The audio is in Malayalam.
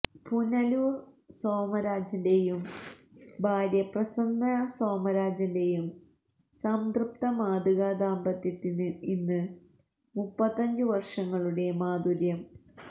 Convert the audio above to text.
പുനലൂര് സോമരാജന്റെയും ഭാര്യ പ്രസന്ന സോമരാജന്റെയും സംതൃപ്ത മാതൃകാ ദാമ്പത്യത്തിന് ഇന്ന് മുപ്പത്തഞ്ചു വര്ഷങ്ങളുടെ മാധുര്യം